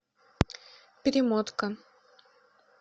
перемотка